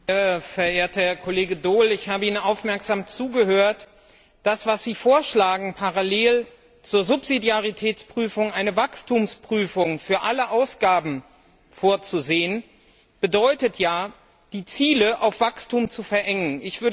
Herr Präsident! Verehrter Herr Kollege Daul! Ich habe Ihnen aufmerksam zugehört. Das, was Sie vorschlagen, nämlich parallel zur Subsidiaritätsprüfung eine Wachstumsprüfung für alle Ausgaben vorzusehen, bedeutet ja, die Ziele auf Wachstum zu verengen.